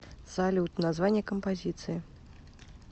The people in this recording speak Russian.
салют название композиции